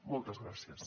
moltes gràcies